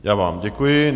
Já vám děkuji.